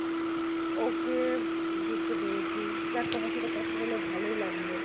Okay বুঝতে পেরেছি যাক তোমার সাথে কথা বলে ভালোই লাগলো।